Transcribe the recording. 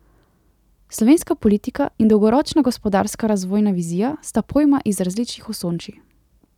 Slovenska politika in dolgoročna gospodarska razvojna vizija sta pojma iz različnih osončij.